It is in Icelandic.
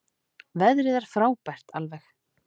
Veðrið er frábært alveg.